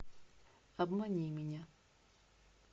обмани меня